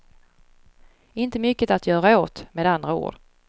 Inte mycket att göra åt, med andra ord.